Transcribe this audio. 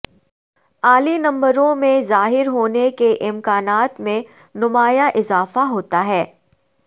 اعلی نمبروں میں ظاہر ہونے کے امکانات میں نمایاں اضافہ ہوتا ہے